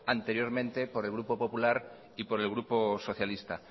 anteriormente por el grupo popular y por el grupo socialista